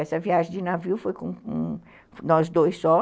Essa viagem de navio foi com um, nós dois só.